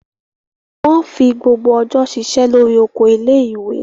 Wọ́n fi gbogbo ọjọ́ ṣiṣẹ́ lórí oko ilé-ìwé.